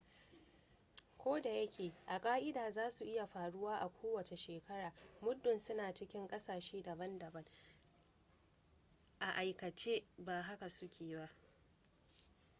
ko da yake a ka'ida za su iya faruwa a kowace shekara muddin suna cikin ƙasashe daban-daban a aikace ba haka suke ba